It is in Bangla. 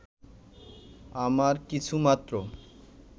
আমার কিছুমাত্র